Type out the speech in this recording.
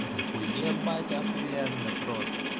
вот так уебать ахуенно просто